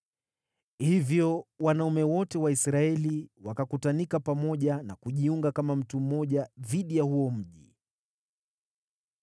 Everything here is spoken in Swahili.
Hivyo wanaume wote wa Israeli wakakutanika pamoja na kujiunga kama mtu mmoja dhidi ya huo mji.